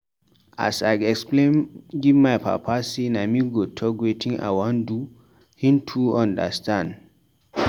As I explain give my papa sey na me go talk wetin I wan do, him too understand.